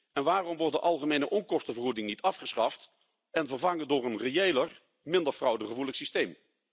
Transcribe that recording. En waarom wordt de algemene onkostenvergoeding niet afgeschaft en vervangen door een reëler, minder fraudegevoelig systeem?